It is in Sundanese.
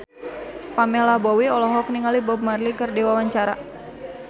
Pamela Bowie olohok ningali Bob Marley keur diwawancara